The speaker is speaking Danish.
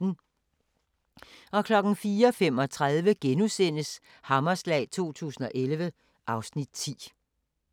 04:35: Hammerslag 2011 (Afs. 10)*